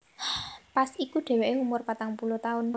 Pas iku dheweke umur patang puluh taun